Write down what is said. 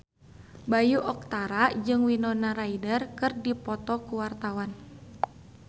Bayu Octara jeung Winona Ryder keur dipoto ku wartawan